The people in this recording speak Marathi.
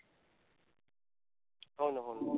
हो ना हो ना.